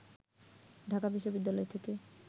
ঢাকা বিশ্ববিদ্যালয় থেকে